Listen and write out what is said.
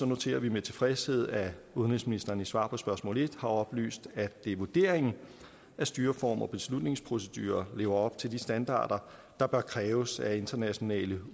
noterer vi med tilfredshed at udenrigsministeren i svar på spørgsmål nummer en har oplyst at det er vurderingen at styreformer og beslutningsprocedurer lever op til de standarder der bør kræves af internationale